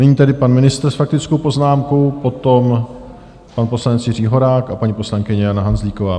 Nyní tedy pan ministr s faktickou poznámkou, potom pan poslanec Jiří Horák a paní poslankyně Jana Hanzlíková.